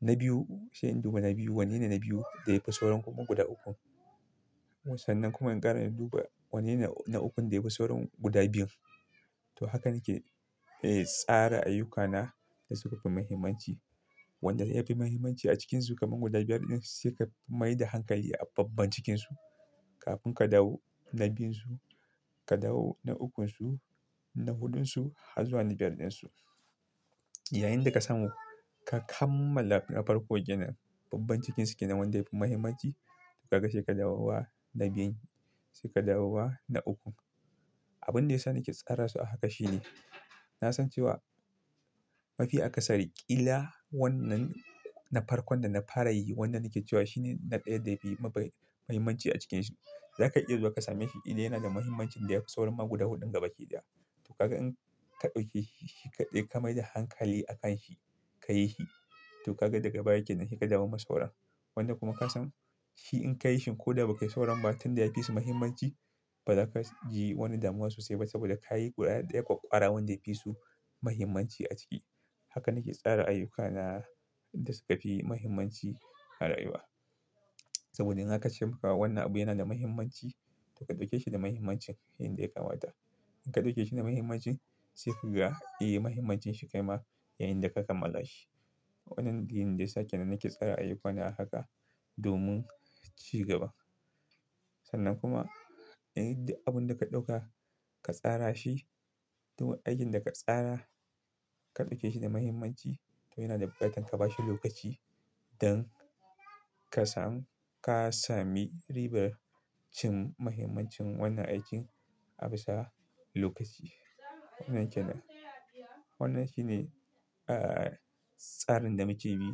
na biyu sai in duba na biyu wanne ne na biyu da yafi sauran kuma guda ukun. Sannan kuma inƙara in duba wannene ana ukun da yafi sauran guda biyun. To hakan nake, eh tsara ayyukana da suƙin mahimmanci. Wanda ya fi mahimmanci a cikinsu kamar guda biyar din sai ka maida hankali a babban cikinsu kafin ka dawl na biyun su, ka dawo na ukun su, na huɗun su har zuwa na biyar din su. Yayinda ka samu ka kammala na farko kenan, babban cikinsu kenan wanda yapi mahimmanci kaga sai ka dawowa na biyun, sai ka dawowa na ukun. Abin da yasa nake tsara su a haka shine, na san cewa mafi akasari ƙila wannan na farkon da na fara yi wannan nake cewa shine na ɗaya da yafi mabe-muhimmanci a cikinsu. Zaka iya zuwa ka same shi ƙila yana da mahimmancin da yafi sauran ma guda huɗun gaba ki da. To kaga in ka ɗaukeshi shi kaɗai ka maida hankali akan shi ka yi shi to kaga daga baya kenan sai ka dawu ma sauran. Wanda kuma ka san shi in ka yi shi ko da ba kai sauran ba tun da ya fi su mahimmanci baza ka ji wani damuwa sosai ba saboda ka yi guda ɗaya ƙwara wanda yapi su mahimmanci a ciki. Haka nake tsara ayyukana da suka pi mahimmanci a rayuwa. Saboda in aka ce wani abu yana da mahimmanci to ka ɗauke shi da mahimmancin yanda ya kamata. In ka ɗauke shi da mahimmancin sai ka ga eh mahimmancin shi kai ma yayinda ka kammala shi. Wannan dalilin da yasa kenan nake tsara ayyukana a haka domin ci gaba. Sannan kuma, duk abun da ka ɗauka ka tsara shi, duk aikin da ka tsara ka ɗauke shi da mahimmanci to yana da buƙatar ka ba shi lokaci don ka samu ka sami ribar cin muhimmancin wannan aikin a bisa lokaci. Wannan kenan, wannan shine, ah, tsarin da muke bi,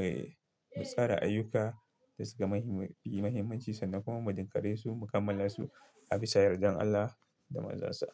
eh, mu tsara ayyuka da suka muhimmanci sannan kuma mu jinkare su mu kammala su a bisa yardan Allah da manzan sa.